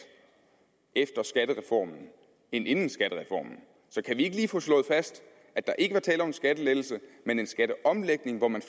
efter skattereformen end inden skattereformen så kan vi ikke lige få slået fast at der ikke var tale om en skattelettelse men en skatteomlægning hvor man